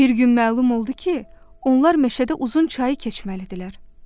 Bir gün məlum oldu ki, onlar meşədə uzun çayı keçməlidirlər.